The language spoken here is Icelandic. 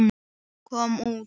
Komum út.